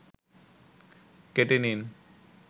কেটে নিন